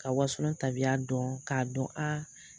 Ka wasolon tabiya dɔn k'a dɔn a